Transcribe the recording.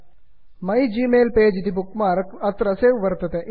माइग्मेल्पेज my Gmail page इति bookmark अत्र रक्षितं वर्तते